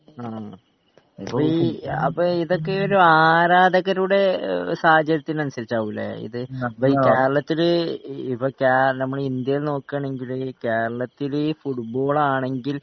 ആ അപ്പൊ ഈ അപ്പൊ ഇതൊക്കെയൊരു ആരാധകരുടെ സാഹചര്യത്തിനനുസരിച്ചാവും ലെ ഇത് കേരളത്തില് ഇപ്പൊ കേരളം നമ്മളെ ഇന്ത്യയില് നോക്കാണെങ്കില് കേരളത്തില് ഫുട്ബാളാണെങ്കിൽ